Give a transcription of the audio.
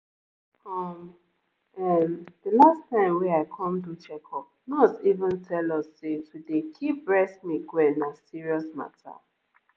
um ehm the last time wey i come do checkup nurse even tell us say to dey keep breast milk well na serious mata.